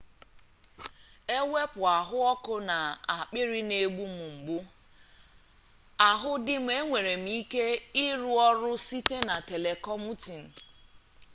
ewepu ahuoku na akpiri n'egbu m mgbu ahu di m enwere m ike iru oru site na telecommuting